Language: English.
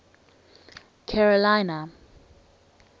carolina